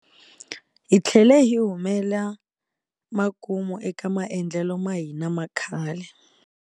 Hi tlhele hi humela makumu eka maendlelo ma hina ma khale.